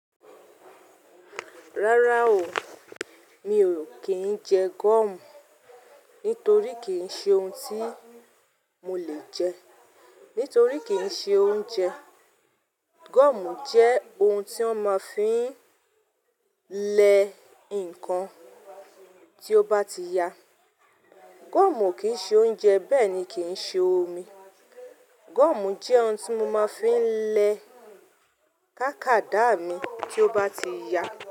Rárá o, mi ò kí ń jẹ gọ́ọ̀mù nítorí kìí ṣe oun tí mo lè jẹ, nítorí kì í ṣe oúnjẹ. Gọ́ọ̀mù jẹ́ oun tí wọ́n máa fí ń lẹ ǹkan tí ó bá ti ya. Gọ́ọ̀mù kìí ṣe oúnjẹ bẹ́ẹ̀ ni kìí ṣe omi. Gọ́ọ̀mù jẹ́ oun tí mo máa fi ń lẹ tákàádà mi tí ó bá ti ya.